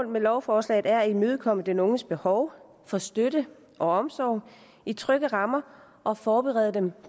med lovforslaget er at imødekomme den unges behov for støtte og omsorg i trygge rammer og forberede den